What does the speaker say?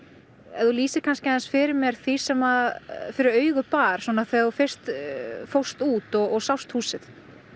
ef þú lýsir kannski aðeins fyrir mér því sem fyrir augu bar þegar þú fyrst fórst út og sást húsið